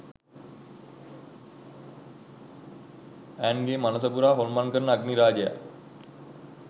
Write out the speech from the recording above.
ඈන්ග්ගේ මනස පුරා හොල්මන් කරන අග්නි රාජයා